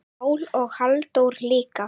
Pál og Halldór líka.